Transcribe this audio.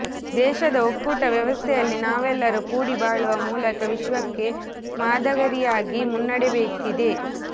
ದೇಶದ ಒಕ್ಕೂಟ ವ್ಯವಸ್ಥೆಯಲ್ಲಿ ನಾವೆಲ್ಲರೂ ಕೂಡಿ ಬಾಳುವ ಮೂಲಕ ವಿಶ್ವಕ್ಕೆ ಮಾದರಿಯಾಗಿ ಮುನ್ನಡೆಯಬೇಕಿದೆ